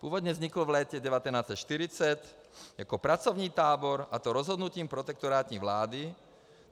Původně vznikl v létě 1940 jako pracovní tábor, a to rozhodnutím protektorátní vlády.